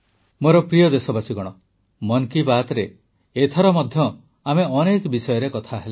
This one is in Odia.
ମୋର ପ୍ରିୟ ଦେଶବାସୀଗଣ ମନ୍ କୀ ବାତ୍ରେ ଏଥର ମଧ୍ୟ ଆମେ ଅନେକ ବିଷୟରେ କଥା ହେଲେ